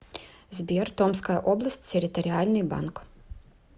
сбер томская область территориальный банк